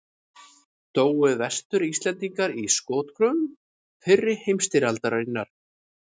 Dóu Vestur-Íslendingar í skotgröfum fyrri heimstyrjaldarinnar?